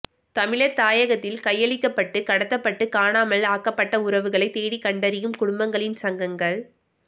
தமிழர் தாயகத்தில் கையளிக்கப்பட்டு கடத்தப்பட்டு காணாமல் ஆக்கப்பட்ட உறவுகளை தேடிக்கண்டறியும் குடும்பங்களின் சங்கங்கள்